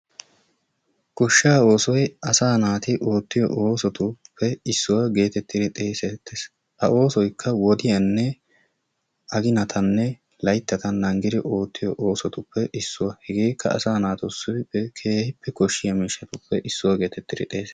goshshaa oosoy asaa naati oottiypo oosotuppe issuwa gididdi xeesettes. ha oosoykka wodiyanne aginatanne layttata naagidi oottoyo oosotuppe issuwa hegeekka asaa naatusi keehippe koshiya miishatuppe issuwa geetettidi xeesetees.